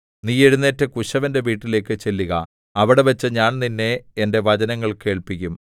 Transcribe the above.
നീ എഴുന്നേറ്റ് കുശവന്റെ വീട്ടിലേക്കു ചെല്ലുക അവിടെവച്ച് ഞാൻ നിന്നെ എന്റെ വചനങ്ങൾ കേൾപ്പിക്കും